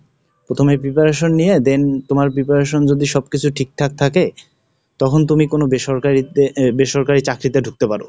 প্রথমে preparation নিয়ে then তোমার preparation যদি সবকিছু ঠিকঠাক থাকে, তখন তুমি কোন বেসরকারিতে, বেসরকারি চাকরিতে ঢুকতে পারো।